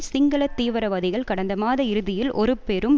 சிங்கள தீவிரவாதிகள் கடந்த மாத இறுதியில் ஒரு பெரும்